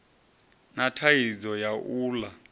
na thaidzo ya u ḽa